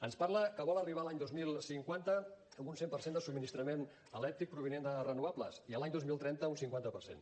ens parla que vol arribar a l’any dos mil cinquanta amb un cent per cent de subministrament elèctric provinent de renovables i a l’any dos mil trenta un cinquanta per cent